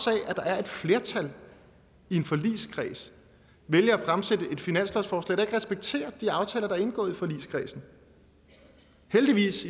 af at der er et flertal i en forligskreds vælger at fremsætte et finanslovsforslag der ikke respekterer de aftaler der er indgået i forligskredsen heldigvis